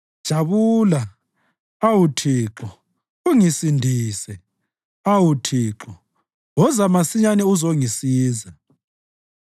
Jabula, awu Thixo, ungisindise; awu Thixo, woza masinyane uzongisiza.